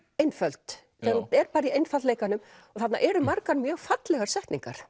einföld þegar hún er bara í einfaldleikanum og þarna eru margar mjög fallegar setningar